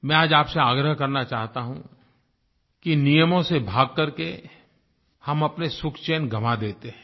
मैं आज आपसे आग्रह करना चाहता हूँ कि नियमों से भाग कर के हम अपने सुखचैन गवाँ देते हैं